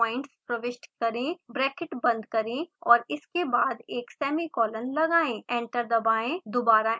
bracket बंद करें और इसके बाद एक सेमीकॉलन लगाएं एंटर दबाएं दोबारा एंटर दबाएं